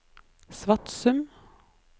Svatsum